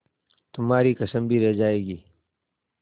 तुम्हारी कसम भी रह जाएगी